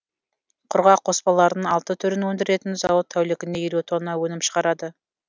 құрғақ қоспалардың алты түрін өндіретін зауыт тәулігіне елу тонна өнім шығарады